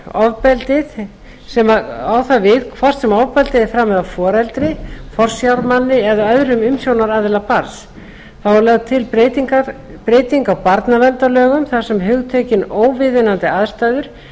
á það við hvort sem ofbeldið er framið af foreldri forsjármanni eða öðrum umsjónaraðila barns þá er lögð til breyting á barnaverndarlögum þar sem hugtökin óviðunandi aðstæður